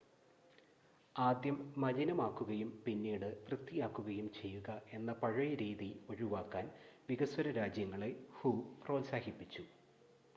"''ആദ്യം മലിനമാക്കുകയും പിന്നീട് വൃത്തിയാക്കുകയും ചെയ്യുക എന്ന പഴയ രീതി ഒഴിവാക്കാൻ" വികസ്വര രാജ്യങ്ങളെ ഹു പ്രോത്സാഹിപ്പിച്ചു.